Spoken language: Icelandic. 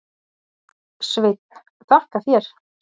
Sveinn: Þakka þér.